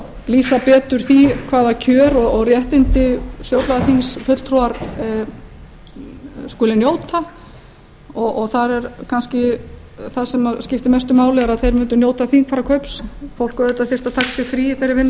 lýsa betur því hvaða kjör og réttindi stjórnlagaþingsfulltrúar skuli njóta og þar er kannski það sem skiptir mestu máli er að þeir mundu njóta þingfararkaups fólk þyrfti auðvitað að taka sér frí í þeirri vinnu